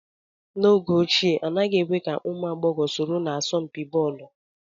N'oge ochie, anaghị èkwe ka ụmụ agbọghọ soro na asọmpi bọọlu